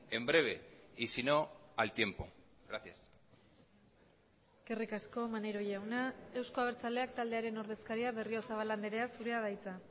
en breve y sino al tiempo gracias eskerrik asko maneiro jauna euzko abertzaleak taldearen ordezkaria berriozabal andrea zurea da hitza